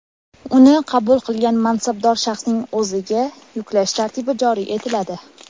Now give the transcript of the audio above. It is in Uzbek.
uni qabul qilgan mansabdor shaxsning o‘ziga yuklash tartibi joriy etiladi;.